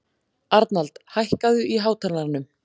Arnald, hækkaðu í hátalaranum.